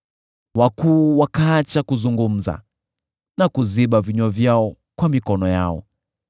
wakuu wakaacha kuzungumza na kuziba vinywa vyao kwa mikono yao;